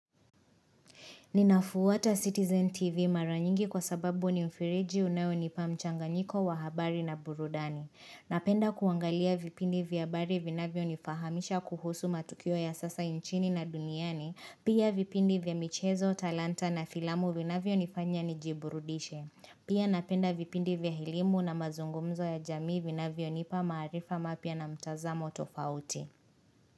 Ninafuata Citizen TV mara nyingi kwa sababu ni mfereji unayonipa mchanganyiko wa habari na burudani. Napenda kuangalia vipindi vya habari vinavyo nifahamisha kuhusu matukio ya sasa nchini na duniani. Pia vipindi vya michezo, talanta na filamu vinavyonifanya nijiburudishe. Pia napenda vipindi vya elimu na mazungumzo ya jamii vinavyo nipa maarifa mapya na mtazamo tofauti.